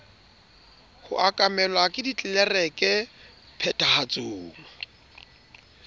ho okamelwa ke ditlelereke phethahatsong